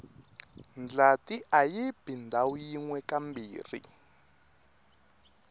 ndlati ayibi ndhawu yinwe kambirhi